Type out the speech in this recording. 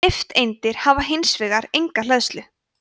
nifteindir hafa hins vegar enga hleðslu